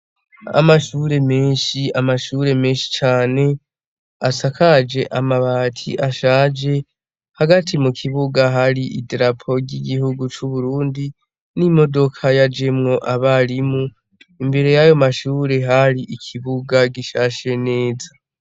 Amashure menshi, amashure menshi cane asakaje amabati ashaje hagati mu kibuga hari idrapo ry'igihugu c'Uburundi n'imodoka yajemwo abarimu, imbere yayo mashure hari ikibuga gishashe neza.